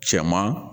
Cɛman